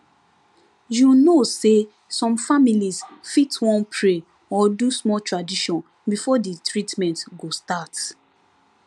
you know say some families fit wan pray or do small tradition before the treatment go start